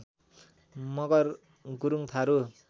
Magar Gurung Tharu